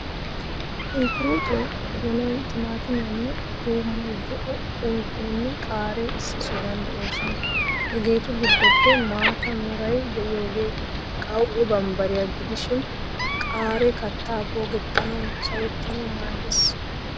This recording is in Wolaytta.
Sunkkuruutoy, donoy, timaatimmee, tuummoy, zo'o unkkoynne qaaree issi sohuwan de'oosona. Hageetu giddoppe maata meray de'iyogee qawu'e bambbariyaa gidishin, qaaree kattaa poogettanawunne sawettanau maaddees.